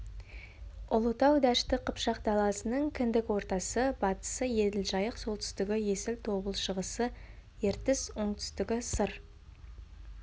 ұлытау дәшті қыпшақ даласының кіндік ортасы батысы еділ жайық солтүстігі есіл тобыл шығысы ертіс оңтүстігі сыр